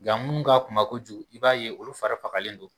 Nka minnu ka kuma kojugu i b'a ye olu fara fagalen don